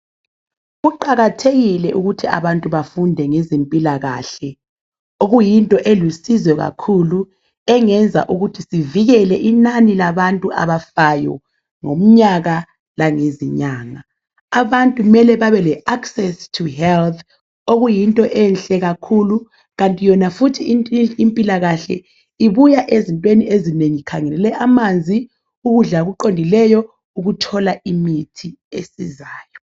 Kuqakathekile ukuthi abantu bafunde ngezempilakahle okuyinto elusizo kakhulu engenza ukuthi sivikele inani labantu abafayo ngomnyaka langezinyanga. Abantu kumele babe le access to health okuyinto enhle kakhulu kanti yona futhi impilakahle ibuya ezintweni ezinengi ikhangelele amanzi ukudla okuqondileyo ukuthola imithi esizayo.